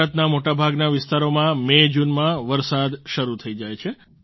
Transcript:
ભારતનાં મોટાભાગના વિસ્તારોમાં મેજૂનમાં વરસાદ શરૂ થઈ જાય છે